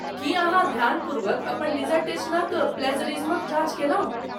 की अहाँ ध्यानपूर्वक अपन डिसर्टेशनक प्लेजरिज्मक जाँच कयलहुँ?